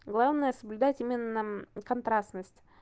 главное соблюдать именно контрастность